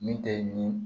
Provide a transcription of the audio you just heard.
Min tɛ nin